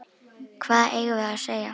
Hvað eigum við að segja?